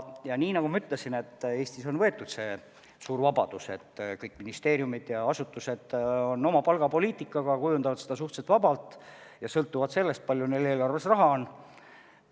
Ja nii nagu ma ütlesin, Eestis on see suur vabadus, et kõik ministeeriumid ja muud asutused kujundavad oma palgapoliitika suhteliselt vabalt ja sõltuvalt sellest, kui palju neil eelarves raha on.